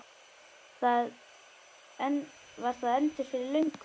Var það endur fyrir löngu?